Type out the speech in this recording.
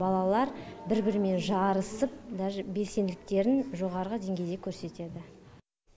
балалар бір бірімен жарысып даже белсенділіктерін жоғарғы деңгейде көрсетеді